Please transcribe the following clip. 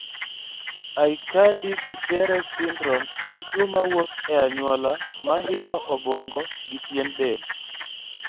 Aicardi Goutieres syndrome en tuo mawuok e anyuola mahinyo obuongo, gi pien del